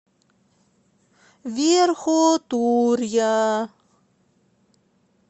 верхотурья